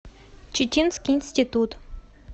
читинский институт